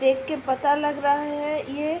देख के पता लग रहा है ये --